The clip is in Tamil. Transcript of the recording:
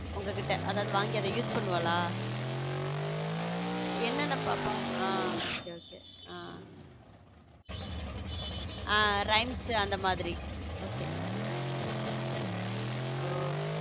உங்ககிட்ட அதாவது வாங்கி அவ use பண்ணுவாள என்னென்ன பாப்பா okay okay ஹம் சரி rhymes அந்த மாதிரி okay